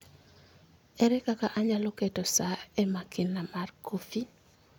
Ere kaka anyalo keto sa e makina mar kofi?